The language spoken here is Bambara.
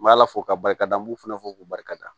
M'ala fo k'a barika da n b'u fana fo k'u barika da